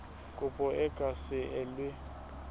kopo e ka se elwe